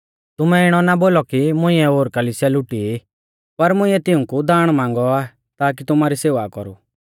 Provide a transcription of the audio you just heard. तुमै इणौ ना बोलौ कि मुइंऐ ओर कलिसिया लुटी ई पर मुंइऐ तिऊंकु दाण मांगौ आ ताकी तुमारी सेवा कौरु